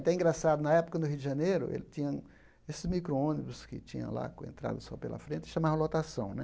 Até é engraçado, na época no Rio de Janeiro, ele tinha esses micro-ônibus que tinham lá, com entrada só pela frente, chamavam lotação, né.